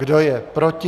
Kdo je proti?